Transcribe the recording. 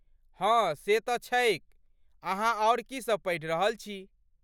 हँ, से तँ छैक, अहाँ आओर की सब पढ़ि रहल छी?